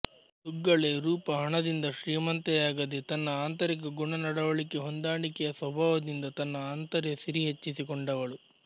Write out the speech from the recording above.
ದುಗ್ಗಳೆ ರೂಪ ಹಣದಿಂದ ಶ್ರೀಮಂತೆಯಾಗದೆ ತನ್ನ ಆಂತರಿಕ ಗುಣನಡವಳಿಕೆ ಹೊಂದಾಣಿಕೆಯ ಸ್ವಭಾವದಿಂದ ತನ್ನ ಆಂತರ್ಯ ಸಿರಿ ಹೆಚ್ಚಿಸಿ ಕೊಂಡವಳು